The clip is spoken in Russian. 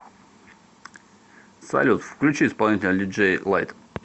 салют включи исполнителя диджей лайт